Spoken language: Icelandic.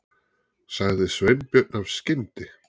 sagði Sveinbjörn af skyndi